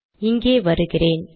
இங்கே வருகிறேன்